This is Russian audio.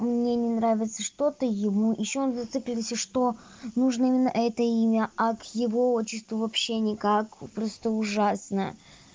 мне не нравится что ты ему ещё он зациклился что нужно именно это имя а к его отчество вообще никак просто ужасно